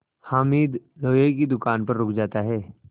हामिद लोहे की दुकान पर रुक जाता है